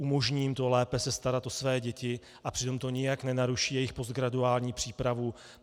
Umožní jim to lépe se starat o své děti a přitom to nijak nenaruší jejich postgraduální přípravu.